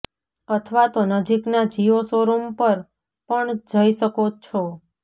અથવા તો નજીકના જિયો શો રૂમ પર પણ જઈ શકો છો